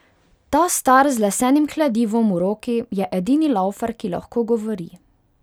Ta star z lesenim kladivom v roki je edini laufar, ki lahko govori.